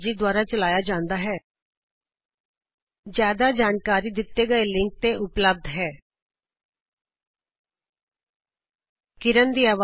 ਅੱਗੇ ਦਿੱਤੇ ਗਏ ਲਿੰਕ ਤੇ ਇਸਦੀ ਬਾਰੇ ਜ਼ਿਆਦਾ ਜਾਨਕਾਰੀ ਉਪਲਬਧ ਹੈ httpspoken tutorialorgNMEICT Intro ਇਸ ਲੇਖਨੀ ਦਾ ਯੋਗਦਾਨ ਪ੍ਰਿਯਾ ਸੁਰੇਸ਼ ਨੇ ਕੀਤਾ